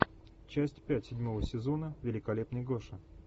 часть пять седьмого сезона великолепный гоша